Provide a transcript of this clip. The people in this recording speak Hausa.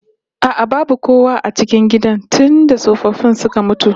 A'a babu kowa a cikin gidan tunda tsofaffin suka mutu